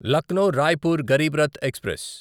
Lucknow Raipur Garib Rath express